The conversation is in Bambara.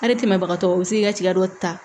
Hali tɛmɛbagatɔ u bi se k'i ka tiga dɔ ta